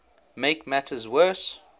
make matters worse